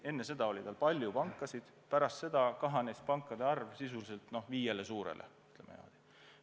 Enne seda oli seal palju pankasid, pärast kriisi kahanes pankade arv sisuliselt viie suure pangani.